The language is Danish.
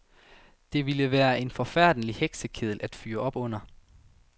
Det ville være en forfærdelig heksekedel at fyre op under.